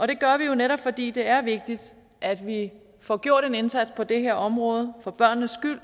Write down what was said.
det gør vi jo netop fordi det er vigtigt at vi får gjort en indsats på det her område for børnenes